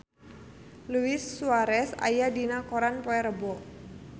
Luis Suarez aya dina koran poe Rebo